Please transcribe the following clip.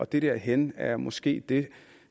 det der hen er måske det